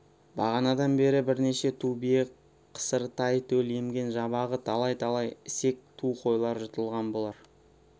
бағанадан бері бірнеше ту бие қысыр тай төл емген жабағы талай-талай ісек ту қойлар жұтылған болар